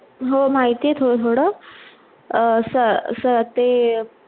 हो माहिती आहे, थोड - थोड अं स ते स ते